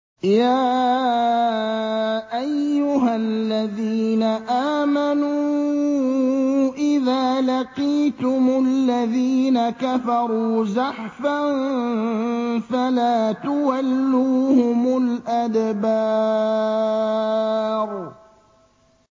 يَا أَيُّهَا الَّذِينَ آمَنُوا إِذَا لَقِيتُمُ الَّذِينَ كَفَرُوا زَحْفًا فَلَا تُوَلُّوهُمُ الْأَدْبَارَ